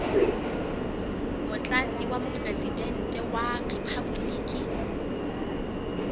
motlatsi wa mopresidente wa riphaboliki